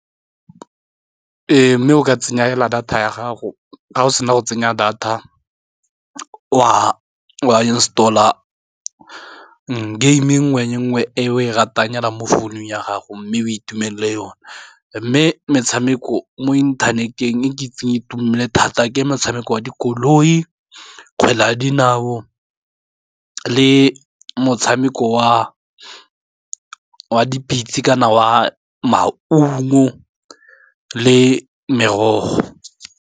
Ee, mme o ka tsenya hela data ya gago, ga o sena go tsenya data wa install-a game-e nngwe le nngwe e o e ratang hela mo founung ya gago, mme o itumelele yona, mme metshameko mo inthaneteng e ke itseng itumele thata ke motshameko wa dikoloi, kgwele ya dinao, le motshameko wa dipitse, kana wa maungo, le merogo.